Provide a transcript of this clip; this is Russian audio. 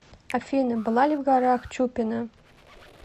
афина была ли в горах чупина